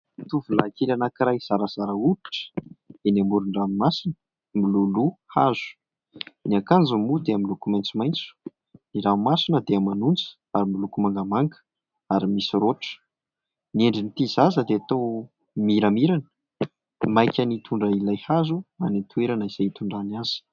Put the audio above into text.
Tovolahikely anankiray zarazara hoditra eny amoron-dranomasina, miloloha hazo. Ny akanjony moa dia miloko maitsomaitso. Ny ranomasina dia manonja ary miloko mangamanga ary misy raotra. Ny endrin'ity zaza dia toa miramirana, maika ny hitondra ilay hazo any an-toerana izay hitondrany azy.